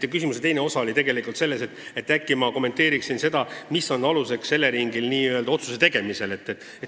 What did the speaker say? Teie küsimuse teine osa oli tegelikult palve, et äkki ma kommenteerin, mis võiks Eleringil otsuse tegemisel aluseks olla.